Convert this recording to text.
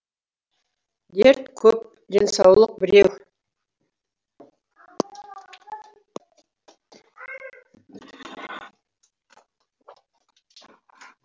дерт көп денсаулық біреу